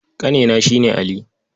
Ƙanena shi ne Ali.